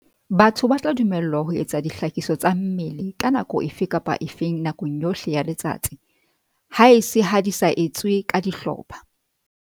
Batho ba tla dumellwa ho etsa dihlakiso tsa mmele ka nako efe kapa efe nakong yohle ya letsatsi, haese ha di sa etswe ka dihlopha.